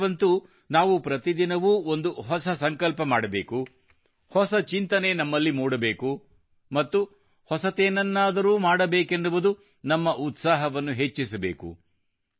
ಈ ವರ್ಷವಂತೂ ನಾವು ಪ್ರತಿದಿನವೂ ಒಂದು ಹೊಸ ಸಂಕಲ್ಪ ಮಾಡಬೇಕು ಹೊಸ ಚಿಂತನೆ ನಮ್ಮಲ್ಲಿ ಮೂಡಬೇಕು ಮತ್ತು ಹೊಸದೇನನ್ನಾದರೂ ಮಾಡಬೇಕೆನ್ನುವ ನಮ್ಮ ಉತ್ಸಾಹವನ್ನು ಹೆಚ್ಚಿಸಬೇಕು